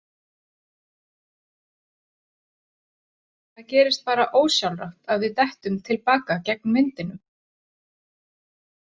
Það gerist bara ósjálfrátt að við dettum til baka gegn vindinum.